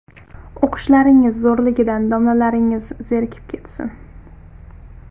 O‘qishlaringiz zo‘rligidan domlalaringiz zerikib ketsin!